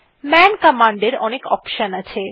মান কমান্ডের অনেক অপশন আছে